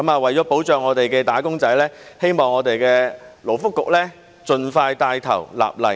為了保障本港的"打工仔"，希望勞工及福利局盡快帶頭立例。